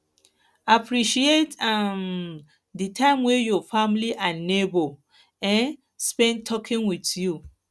appreciate um di time wey your family and neigbour um spend talking with you